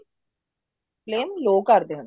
flame low ਕਰ ਦੇਣੀ ਹੈ